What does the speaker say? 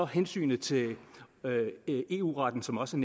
hensynet til eu retten som også